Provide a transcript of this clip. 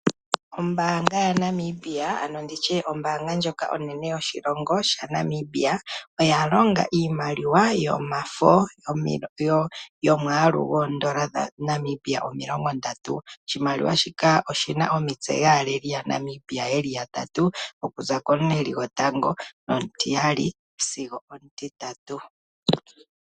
Ombaanga yaNamibia, ano ombaanga ndjoka onene yoshilongo shaNamibia oya longa iimaliwa yomafo yoodola dhaNamibia omilongondatu. Oshimaliwa shika oshi na omitse dhaaleli yaNamibia ye li yatatu okuza komuleli gotango sigo omutitatu.